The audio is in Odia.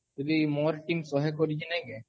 ଯଦି ମୋର୍ ଟୀମ୍ ଶହେ କରିକି ନାଇଁ କେ